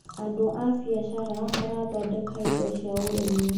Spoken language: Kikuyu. Andũ a biacara marathondeka indo cia ũrĩmi.